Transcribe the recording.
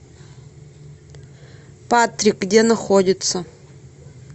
патрик где находится